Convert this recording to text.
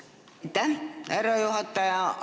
Aitäh, härra juhataja!